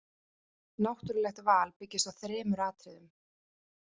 Náttúrulegt val byggist á þremur atriðum.